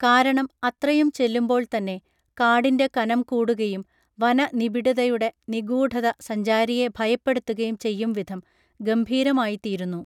കാരണം അത്രയും ചെല്ലുമ്പോൾത്തന്നെ കാടിന്റെ കനം കൂടുകയും വനനിബിഡതയുടെ നിഗൂഢത സഞ്ചാരിയെ ഭയപ്പെടുത്തുകയും ചെയ്യും വിധം ഗംഭീരമായിത്തീരുന്നു